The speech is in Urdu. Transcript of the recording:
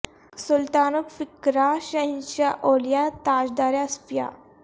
سلطان الفقرا ء شہنشاہ اولیا ء تاجدار اصفیا ء